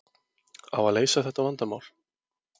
Á að leysa þetta vandamál?